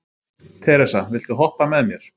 Teresa, viltu hoppa með mér?